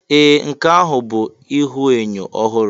Ee! Nke ahụ bụ ihuenyo ọhụrụ.